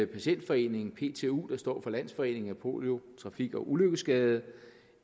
patientforeningen ptu der står for landsforeningen af polio trafik og ulykkesskadede